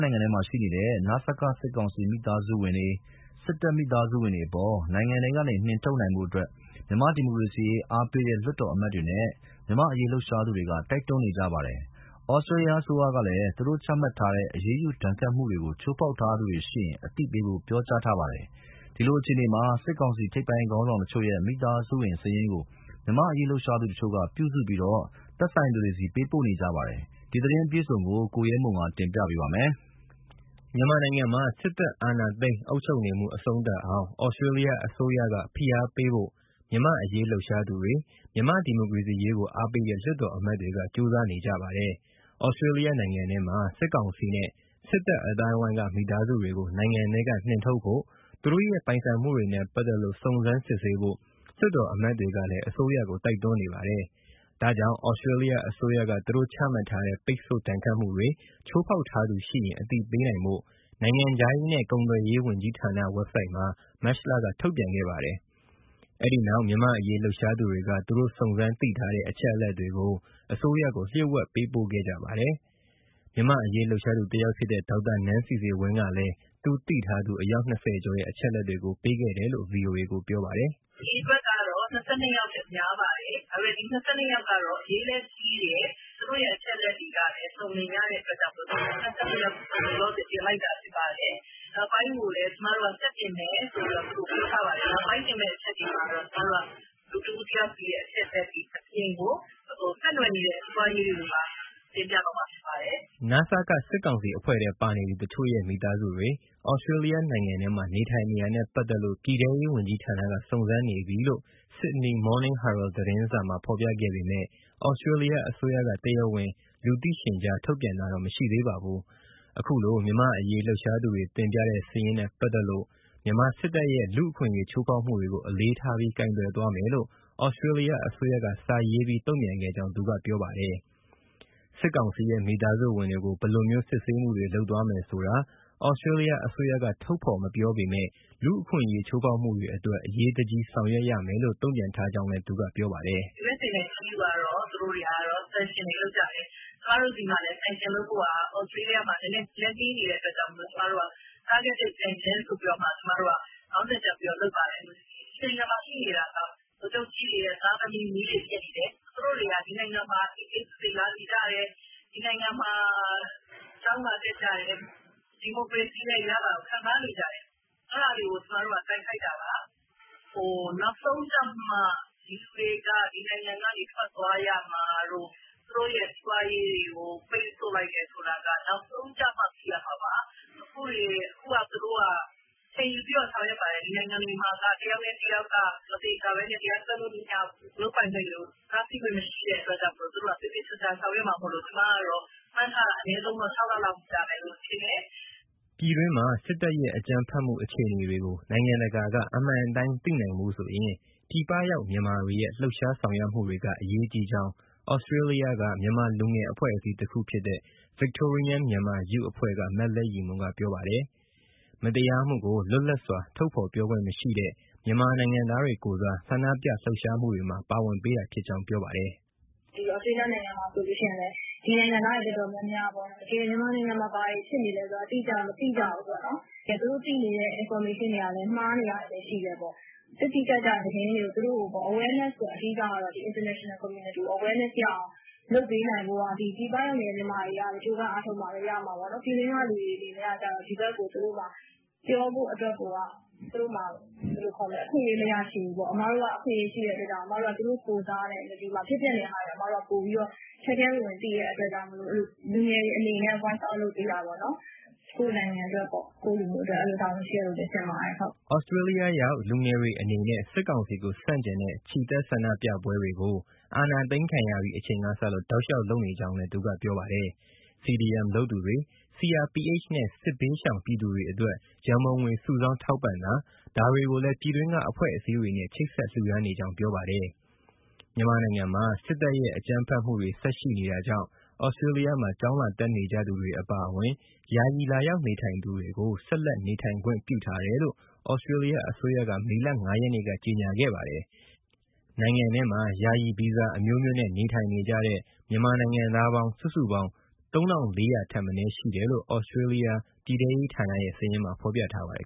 နိုင်ငံထဲမှာ ရှိနေတဲ့ နစက စစ်ကောင်စီ မိသားစုဝင်တွေ၊ စစ်တပ်မိသားစုတွေအပေါ် နိုင်ငံထဲကနေ နှင်ထုတ်နိုင်ဖို့ မြန်မာ့ဒီမိုကရေစီရေး အားပေးတဲ့ လွှတ်တော်အမတ်တွေနဲ့ မြန်မာ့အရေးလှုပ်ရှားသူတွေက တိုက်တွန်းနေကြပါတယ်။ Australia အစိုးရကလည်း သူတို့ချမှတ်ထားတဲ့ အရေးယူဒဏ်ခတ်မှုကို ချိုးဖောက်ထားသူတွေရှိရင် အသိပေးဖို့ ပြောကြားထားပါတယ်။ ဒီလိုအခြေအနေမှာ စစ်ကောင်စီ ထိပ်ပိုင်းခေါင်းဆောင်တချို့ရဲ့ မိသားစုဝင် စာရင်းကို မြန်မာ့အရေးလှုပ်ရှားသူတချို့က ပြုစုပြီး သက်ဆိုင်သူတွေဆီ ပေးပို့နေကြပါတယ်။ ဒီသတင်းအပြည့်အစုံကို ကိုရဲမွန် ကတင်ပြပါမယ်။ မြန်မာနိုင်ငံမှာ စစ်တပ်အာဏာသိမ်းအုပ်ချုပ်နေမှု အဆုံးသတ်အောင် Australia အစိုးရက ဖိအားပေးဖို့ မြန်မာ့အရေးလှုပ်ရှားသူတွေ၊ မြန်မာ့ဒီမိုကရေစီရေးကို အားပေးတဲ့ လွှတ်တော်အမတ်တွေက ကြိုးစားနေကြပါတယ်။ Australia နိုင်ငံထဲမှာ စစ်ကောင်စီနဲ့ စစ်တပ်အသိုင်းအဝိုင်းက မိသားစုတွေကို နိုင်ငံထဲက နှင်ထုတ်ဖို့ သူတို့ရဲ့ ပိုင်ဆိုင်မှုတွေနဲ့ပါတ်သက်လို့ စုံစမ်းစစ်ဆေးဖို့ လွှတ်တော်အမတ်တွေကလည်း အစိုးရကို တိုက်တွန်းနေပါတယ်။ ဒါကြောင့် Australia အစိုးရက သူတို့ချမှတ်ထားတဲ့ ပိတ်ဆို့ ဒဏ်ခတ်မှုတွေ ချိုးဖောက်ထားသူရှိရင် အသိပေးနိုင်ဖို့ နိုင်ငံခြားရေးနဲ့ ကုန်သွယ်ရေးဝန်ကြီးဌာန Website မှာ မတ်လက ထုတ်ပြန်ခဲ့ပါတယ်။ အဲဒီနောက် မြန်မာ့အရေးလှုပ်ရှားသူတွေက သူတို့ စုံစမ်းသိထားတဲ့ အချက်အလက်တွေကို အစိုးရကို လျှိူ့ဝှက်ပေးပို့ခဲ့ကြပါတယ်။ မြန်မာ့အရေးလှုပ်ရှားသူ တယောက်ဖြစ်တဲ့ ဒေါက်တာနန်းစီစီဝင်းကလည်း သူသိထားသူ အယောက် ၂၀ ကျော်ရဲ့ အချက်အလက်တွေကို ပေးခဲ့တယ်လို့ ဗွီအိုအေကို ပြောပါတယ်။ “အရေအတွက်ကတော့ ၂၂ ယောက်ထက် များပါတယ်၊ ဒါပေမယ့် ဒီ ၂၂ ယောက်ကတော့ အရေးလည်းကြီးတယ်၊ သူတို့ရဲ့ အချက်အလက်တွေကလည်း အစုံအလင်ရတဲ့ အတွက်ကြောင့်မို့လို့ ၂၂ ယောက်ကို လောလောဆယ် တင်လိုက်တာ ဖြစ်ပါတယ်။ နောက်ပိုင်းကိုလည်း ကျမတို့က ဆက်တင်မယ်ဆိုပြီး သူတို့ကို ပြောထားပါတယ်၊ နောက်ပိုင်းတင်မယ့် အချက်တွေမှာတော့ လူတဦးတယောက်စီရဲ့ အချက်အလက်တွေအပြင် ဆက်နွယ်နေတဲ့ စီးပွားရေးတွေကိုပါ တင်ပြသွားမှာ ဖြစ်ပါတယ်။” နစက စစ်ကောင်စီအဖွဲ့ထဲပါနေသူ တချို့ရဲ့ မိသားစုတွေ Australia နိုင်ငံထဲမှာ နေထိုင်နေတာနဲ့ပတ်သက်လို့ ပြည်ထဲရေးဝန်ကြီးဌာနက စုံစမ်းနေပြီလို့ Sydney Morning Herald သတင်းစာမှာ ဖော်ပြခဲ့ပေမဲ့ Australia အစိုးရက တရားဝင်လူသိရှင်ကြား ထုတ်ပြန်တာတော့ မရှိသေးပါဘူး။ ခုလို မြန်မာ့အရေးလှုပ်ရှားသူတွေ တင်ပြတဲ့ စာရင်းနဲ့ပတ်သက်လို့ မြန်မာစစ်တပ်ရဲ့ လူ့အခွင့်အရေး ချိုးဖောက်မှုတွေကို အလေးထားပြီး ကိုင်တွယ်သွားမယ်လို့ ဩစတြေးလျအစိုးရက စာရေးပြီး တုံ့ပြန်ခဲ့ကြောင်း သူကပြောပါတယ်။ စစ်ကောင်စီရဲ့ မိသားစုဝင်တွေကို ဘယ်လိုမျိုး စစ်ဆေးမှုတွေ လုပ်သွားမယ်ဆိုတာ ဩစတြေးလျအစိုးရက ထုတ်ဖော်မပြောပေမဲ့ လူ့အခွင့်အရေး ချိုးဖောက်မှုတွေအတွက် အရေးတကြီး ဆောင်ရွက်ရမယ်လို့ တုံ့ပြန်ထားကြောင်းလည်း ပြောပါတယ်။ “ USA နဲ့ EU ကတော့ သူတို့က ပိတ်ဆို့မှုတွေလုပ်ကြတယ်၊ ကျမတို့ ဩစတြေးလျမှာ ပိတ်ဆို့မှုတွေလုပ်ဖို့ နည်းနည်းလက်နှေး နေတဲ့အတွက်ကြောင့်မို့ ကျမတို့က targeted sanction ဆိုပြီးတော့ ကျမတို့က ခေါင်းစဉ်တပ်ပြီးတော့ လုပ်ပါတယ်။ ဒီနိုင်ငံမှာရှိနေတာက ဗိုလ်ချုပ်ကြီးတွေရဲ့ သားတွေ၊ မြေးတွေ ဖြစ်နေတယ်၊ သူတို့တွေက ဒီနိုင်ငံမှာ အေးအေးဆေးဆေး လာနေကြတယ်၊ ဒီနိုင်ငံမှာ ကျောင်းလာတက်ကြတယ်၊ ဒီမိုကရေစီရဲ့ အရသာကို ခံစားနေကြတယ်။ အဲဒါတွေကို ကျမတို့က တိုက်ခိုက်တာပါ။ နောက်ဆုံးကျမှ ဒီလူတွေက ဒီနိုင်ငံကနေ ထွက်သွားရမှာတို့ သူတို့ရဲ့ စီးပွားရေးတွေကို ပိတ်ဆို့လိုက်တယ် ဆိုတာက နောက်ဆုံးကျမှ သိရမှာပါ။ အခုသူတို့က အချိန်ယူပြီး ဆောင်ရွက်ပါတယ်၊ ဒီနိုင်ငံမှာက တယောက်နဲ့တယောက် မသေချာဘဲ တရားစွဲလို့ မရဘူး၊ လုပ်ပိုင်ခွင့်တွေကို တားဆီးခွင့် မရှိတဲ့ အတွက်ကြောင့်မို့လို့ သူတို့က သေသေချာချာ ဆောင်ရွက်မှာမို့လို့ ကျမက မှန်းထားတာ အနည်းဆုံး ၆ လလောက်တော့ ကြာမယ်လို့ ထင်တယ်။” ပြည်အတွင်းမှာ စစ်တပ်ရဲ့ အကြမ်းဖက်မှု အခြေအနေတွေကို နိုင်ငံတကာက အမှန်အတိုင်းသိနိုင်ဖို့ဆိုရင် ပြည်ပရောက်မြန်မာတွေရဲ့ လှုပ်ရှားဆောင်ရွက်မှု တွေက အရေးကြီးကြောင်း ဩစတြေးလျက မြန်မာလူငယ် အဖွဲ့အစည်းတခုဖြစ်တဲ့ Victorian Myanmar Youth က မလဲ့ရည်မွန်က ပြောပါတယ်။ မတရားမှုကို လွတ်လပ်စွာ ထုတ်ဖော်ပြောဆိုခွင့်မရှိတဲ့ မြန်မာ နိုင်ငံသားတွေကိုယ်စား ဆန္ဒပြလှုပ်ရှားမှုတွေမှာ ပါဝင်ပေးတာဖြစ်ကြောင်း ပြောပါတယ်။ “ ဒီဩစတြေးလျ နိုင်ငံမှာဆိုရင်လည်း ဒီနိုင်ငံသားတွေ တော်တော်များများပေါ့ မြန်မာနိုင်ငံမှာ ဘာတွေဖြစ်နေလဲဆိုတာ တိတိကျကျ မသိကြဘူးပေါ့၊ သူတို့သိနေတဲ့ information တွေကလည်း မှားနေတာတွေလည်း ရှိတယ်။ တိတိကျကျသတင်းတွေကို သူတို့ကို awareness အဓိကပေါ့ international community ကို awareness ရအောင် လုပ်ပေးနိုင်ဖို့က ပြည်ပရောက် မြန်မာတွေကပဲ ကြိုးပမ်းအားထုတ်မှပဲ ရမှာပေါ့နော်။ ပြည်တွင်းက လူတွေအနေနဲ့ကျ ဒီဘက်ကို သူတို့မှာ ပြောဖို့အတွက်ကို အခွင့်အရေး မရရှိဘူးပေါ့။ အစ်မတို့က အခွင့်အရေး ရှိတဲ့အတွက်ကြောင့်မို့ သူတို့ကိုယ်စား ဒီမှာ ဖြစ်ပျက်နေတာတွေကို ထဲထဲဝင်ဝင် သိတဲ့အတွက်ကြောင့်မို့ လူငယ်တွေအနေနဲ့ voice out လုပ်ပေးတာပေါ့နော်။ ကိုယ့်နိုင်ငံ၊ ကိုယ့်လူမျိုး အတွက်လည်း တာဝန်ရှိတယ်လို့ ထင်ပါတယ်။” ဩစတြေးလျရောက် လူငယ်တွေအနေနဲ့ စစ်ကောင်စီကို ဆန့်ကျင်တဲ့ ချီတက်ဆန္ဒပြပွဲတွေကို အာဏာသိမ်းခံရပြီး အချိန်ကစလို့ တောက်လျှောက် လုပ်နေကြောင်း သူကပြောပါတယ်။ CDM လုပ်သူတွေ၊ CRPH နဲ့ စစ်ဘေးရှောင် ပြည်သူတွေအတွက် ရံပုံငွေစုဆောင်း ထောက်ပံ့တာ ဒါတွေကိုလည်း ပြည်တွင်းက အဖွဲ့အစည်းတွေနဲ့ ချိတ်ဆက် လှူဒါန်းနေကြောင်း ပြောပါတယ်။ မြန်မာနိုင်ငံမှာ စစ်တပ်ရဲ့ အကြမ်းဖက်မှုတွေ ဆက်ရှိနေတာကြောင့် Australia မှာ ကျောင်းလာတက်နေကြသူတွေအပါအဝင် ယာယီလာရောက်နေထိုင်သူတွေကို ဆက်လက်နေထိုင်ခွင့် ပြုထားမယ်လို့ Australia အစိုးရက မေလ ၅ ရက်နေ့က ကြေညာခဲ့ပါတယ်။ နိုင်ငံထဲမှာ ယာယီဗီဇာအမျိုးမျိုးနဲ့ နေထိုင်နေကြတဲ့ မြန်မာနိုင်ငံက စုစုပေါင်း ၃၄၀၀ ထက်မနည်းရှိတယ်လို့ Australia ပြည်ထဲရေးဌာနရဲ့ စာရင်းမှာ ပြောထားပါတယ်